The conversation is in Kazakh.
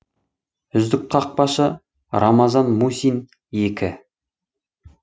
үздік қақпашы рамазан мусин екі